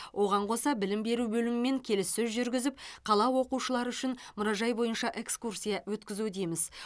оған қоса білім беру бөлімімен келіссөз жүргізіп қала оқушылары үшін мұражай бойынша экскурсия өткізудеміз